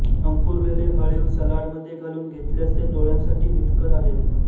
अंकुरलेले हळीव सलाडमध्ये घालून घेतल्यास ते डोळ्यांसाठी हितकर आहेत